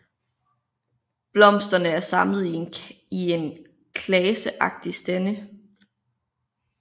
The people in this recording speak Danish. Blomsterne er samlet i klaseagtige stande